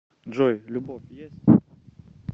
джой любовь есть